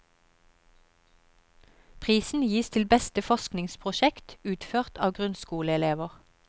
Prisen gis til beste forskningsprosjekt, utført av grunnskoleelever.